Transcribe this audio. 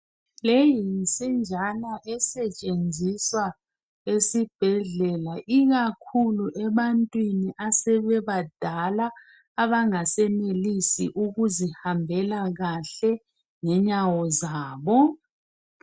Le yinsinjana esetshenziswa esibhedlela ikakhulu ebantwini asebebadala abangasenelisi ukuzihambela kahle ngenyawo zabo.